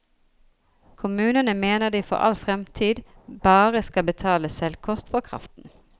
Kommunene mener de for all fremtid bare skal betale selvkost for kraften.